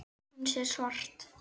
Hún sér svart.